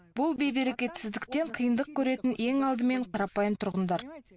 бұл бейберекетсіздіктен қиындық көретін ең алдымен қарапайым тұрғындар